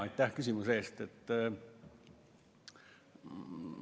Aitäh küsimuse eest!